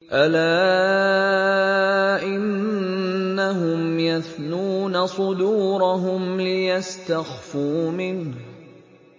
أَلَا إِنَّهُمْ يَثْنُونَ صُدُورَهُمْ لِيَسْتَخْفُوا مِنْهُ ۚ